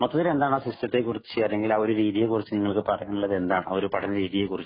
മൊത്തത്തില്‍ എന്താണ് ആ സിസ്റ്റത്തെ ക്കുറിച്ച് അല്ലെങ്കില്‍ ആ ഒരു രീതിയെ കുറിച്ച് നിങ്ങള്ക്ക് പറയാനുള്ളത് എന്താണ്?ആ ഒരു പഠന രീതിയെ കുറിച്ച്.